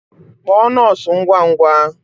Kpọọ nọọsụ ngwa ngwa!